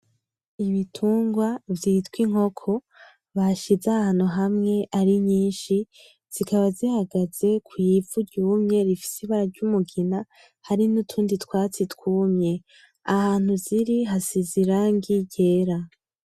Ibitungwa vyitwa inkoko, bashize ahantu hamwe ari nyinshi , zikaba zihagaze kw'ivu ryumye rifise ibara ry'umugina hari n'utundi twatsi twumye, ahantu ziri hasize irangi ryera.